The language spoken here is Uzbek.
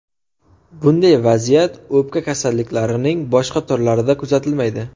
Bunday vaziyat o‘pka kasalliklarining boshqa turlarida kuzatilmaydi.